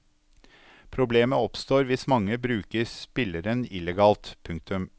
Problemet oppstår hvis mange bruker spilleren illegalt. punktum